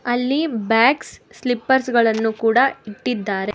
ಅಲ್ಲಿ bags slippers ಗಳನ್ನು ಕೂಡ ಇಟ್ಟಿದ್ದಾರೆ.